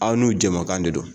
Aw n'u jɛmakan de don!